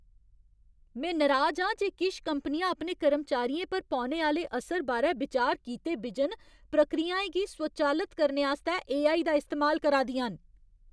में नराज आं जे किश कंपनियां अपने कर्मचारियें पर पौने आह्‌ले असर बारै बिचार कीते बिजन प्रक्रियाएं गी स्वचालत करने आस्तै ए.आई. दा इस्तेमाल करा दियां न।